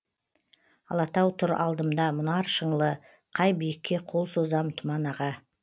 алатау тұр алдымда мұнар шыңлы қай биікке қол созам тұман аға